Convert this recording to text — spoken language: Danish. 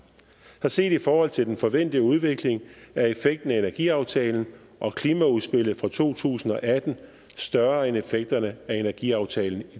så set i forhold til den forventede udvikling er effekten af energiaftalen og klimaudspillet fra to tusind og atten større end effekterne af energiaftalen